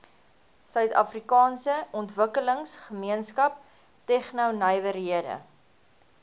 suidafrikaanse ontwikkelingsgemeenskap tegnonywerhede